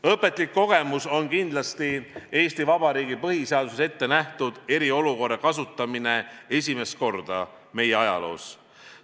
Õpetlik kogemus on kindlasti Eesti Vabariigi põhiseaduses ettenähtud eriolukorra kasutamine esimest korda meie ajaloos.